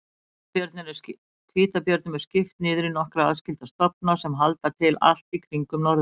Hvítabjörnum er skipt niður í nokkra aðskilda stofna sem halda til allt í kringum norðurpólinn.